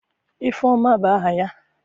Ifeoma bu aha ya?